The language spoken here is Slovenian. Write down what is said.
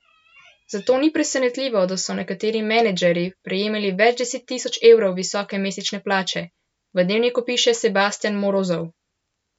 Zato ni presenetljivo, da so nekateri menedžerji prejemali več deset tisoč evrov visoke mesečne plače, v Dnevniku piše Sebastjan Morozov.